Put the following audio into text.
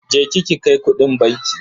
Je ki ki kai kudin banki.